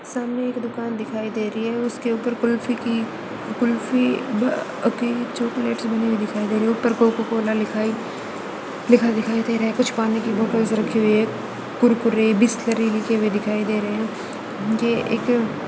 सामने एक दुकान दिखाई दे रही है उसके ऊपर कुल्फी की कुल्फी की चॉकलेट बनी दिखाई दे रही है। ऊपर कोको कोला दिखाएं दे रहे हैं। कुछ पानी की बोतल रखी हुई हैं। कुरकुरे लिखा दिखाई दे रहा है। ये एक--